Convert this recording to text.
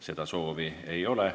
Seda soovi ei ole.